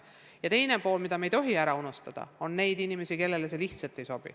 Aga teine pool, mida me ei tohi ära unustada: on neid inimesi, kellele see lihtsalt ei sobi.